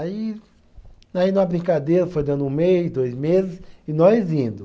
Aí, aí na brincadeira, foi dando um mês, dois meses, e nós indo.